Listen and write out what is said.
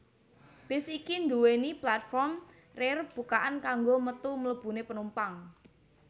Bis iki nduwèni platform rear bukaan kanggo metu mlebune penumpang